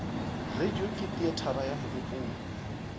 radio ke teatere ya mogopolo